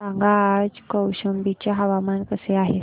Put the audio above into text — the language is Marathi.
सांगा आज कौशंबी चे हवामान कसे आहे